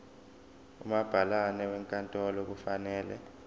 umabhalane wenkantolo kufanele